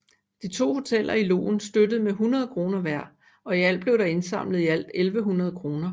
De to hoteller i Loen støttede med 100 kr hver og i alt blev der indsamlet 1100 kr